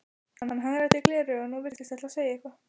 Hann hagræddi gleraugunum og virtist ætla að segja eitthvað.